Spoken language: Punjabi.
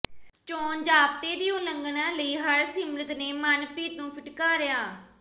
ਚੋਣ ਜ਼ਾਬਤੇ ਦੀ ਉਲੰਘਣਾ ਲਈ ਹਰਸਿਮਰਤ ਨੇ ਮਨਪ੍ਰੀਤ ਨੂੰ ਫਿਟਕਾਰਿਆ